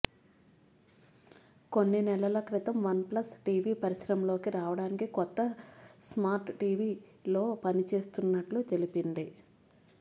కొన్ని నెలల క్రితం వన్ప్లస్ టీవీ పరిశ్రమలోకి రావడానికి కొత్త స్మార్ట్ టీవీలో పనిచేస్తున్నట్లు తెలిపింది